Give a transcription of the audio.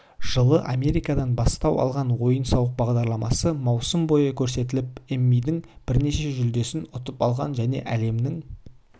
жылы америкадан бастау алған ойын-сауық бағдарламасы маусым бойы көрсетіліп эммидің бірнеше жүлдесін ұтып алған және әлемнің